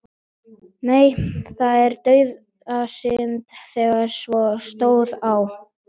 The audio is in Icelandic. Nei, það var dauðasynd þegar svo stóð á.